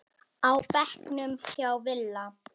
á bekknum hjá Villa.